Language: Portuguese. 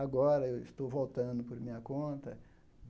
Agora eu estou voltando por minha conta.